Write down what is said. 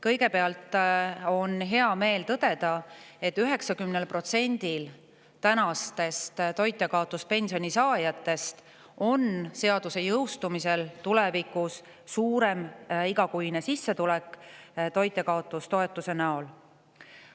Kõigepealt on hea meel tõdeda, et 90%-l praegustest toitjakaotuspensioni saajatest on seaduse jõustumisel tulevikus suurem igakuine sissetulek toitjakaotustoetuse näol.